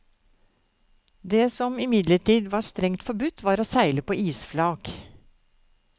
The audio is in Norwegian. Det som imidlertid var strengt forbudt, var å seile på isflak.